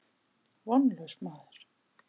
Vonlaus maður.